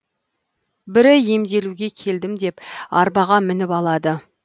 бірі емделуге келдім деп арбаға мініп алады